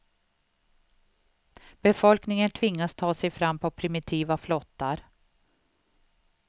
Befolkningen tvingas ta sig fram på primitiva flottar.